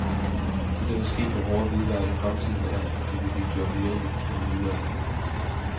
Det, der vil ske med hårde hvidevarer i fremtiden, er, at de vil blive gjort mere energi- og miljørigtige.